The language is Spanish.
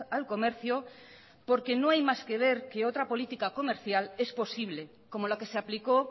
al comercio porque no hay más que ver que otra política comercial es posible como la que se aplicó